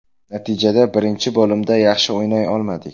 Natijada birinchi bo‘limda yaxshi o‘ynay olmadik.